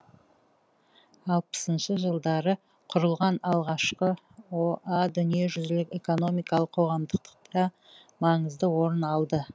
алпысыншы жылдары құрылған алғашқы о а дүниежүзілік экономикалық қоғамдықдықта маңызды орын алды